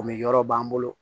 O mi yɔrɔ b'an bolo